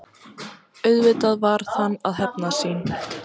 Auðvitað varð hann að hefna sín.